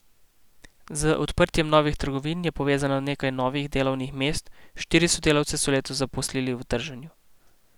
Z odprtjem novih trgovin je povezano nekaj novih delovnih mest, štiri sodelavce so letos zaposlili v trženju.